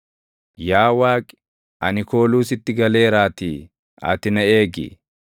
Yaa Waaqi, ani kooluu sitti galeeraatii, ati na eegi.